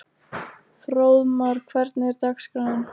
Fróðmar, hvernig er dagskráin?